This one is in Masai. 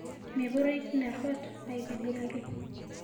Meperoi teina ruat aitibiraki